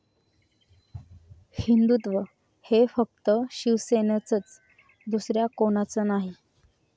हिंदुत्व हे फक्त शिवसेनेचंच, दुसऱ्या कोणाचं नाही'